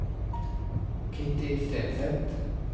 Kitty Stenseth